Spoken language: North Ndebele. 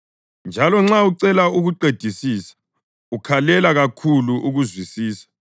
njalo nxa ucela ukuqedisisa ukhalela kakhulu ukuzwisisa,